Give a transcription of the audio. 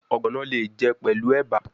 Ogbono le je pelu eba